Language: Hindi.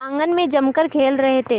आंगन में जमकर खेल रहे थे